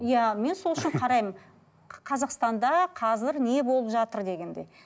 иә мен сол үшін қараймын қазақстанда қазір не болып жатыр дегендей